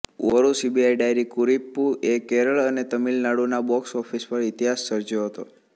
Oru CBI diary Kurippu એ કેરળ અને તમિલનાડુંના બોક્સ ઓફિસ પર ઇતિહાસ સર્જ્યો હતો